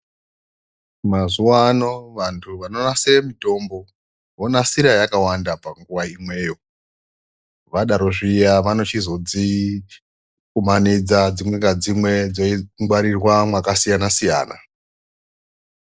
Mazuva ano vantu vanonasire mutombo vonasira yakawanda panguva imweyo. Vadaro zviya vanochizodzikumanidza dzimwe ngadzimwe dzeingwarirwa mwakasiyana-siyana.